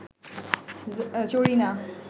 Zarina